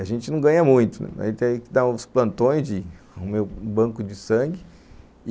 A gente não ganha muito, a gente tem que dar uns plantões, de um banco de sangue.